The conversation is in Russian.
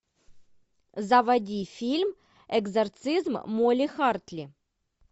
заводи фильм экзорцизм молли хартли